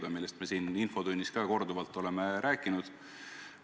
Oleme sellest ka siin infotunnis korduvalt rääkinud.